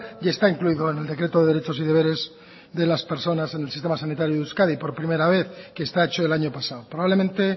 y está incluido en el decreto de derechos y deberes de las personas en el sistema sanitario de euskadi por primera vez que está hecho el año pasado probablemente